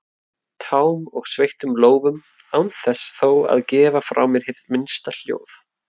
tám og sveittum lófum án þess þó að gefa frá mér hið minnsta hljóð.